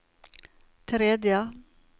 tredje